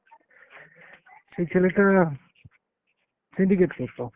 সেই ছেলেটা syndicate করতো।